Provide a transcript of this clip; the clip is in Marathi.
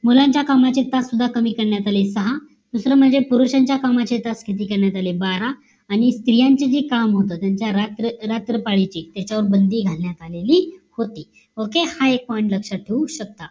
मुलांच्या कामाचे तास सुद्धा कमी करण्यात आले सहा. दुसरं म्हणजे पुरुषांच्या कामाचे तास किती करण्यात आले बारा आणि स्त्रियांचे जे काम होत त्यांच्या रात्र रात्र पाळीची त्याच्यावर बंदी घालण्यात आलेली होती okay हा एक point लक्ष्यात ठेवू शकता